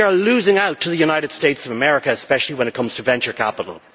We are losing out to the United States of America, especially when it comes to venture capital.